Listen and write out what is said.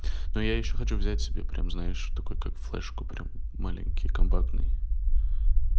ну я ещё хочу взять себе прямо знаешь что такое как флешку прямо маленький компактный